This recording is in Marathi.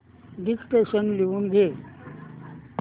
डिक्टेशन लिहून घे